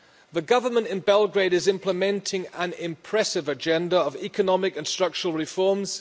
The government in Belgrade is implementing an impressive agenda of economic and structural reforms.